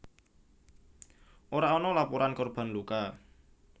Ora ana laporan korban luka